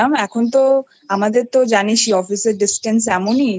এখন তো আমাদের তো জানিস এ Office এর Distance এমনই